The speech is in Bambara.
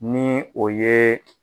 Ni o yeee.